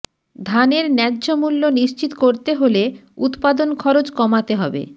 ধানের ন্যায্যমূল্য নিশ্চিত করতে হলে উৎপাদন খরচ কমাতে হবে